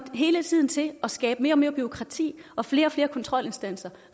hele tiden til at skabe mere og mere bureaukrati og flere og flere kontrolinstanser